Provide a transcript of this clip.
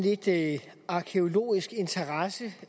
ikke